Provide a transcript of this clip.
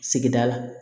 Sigida la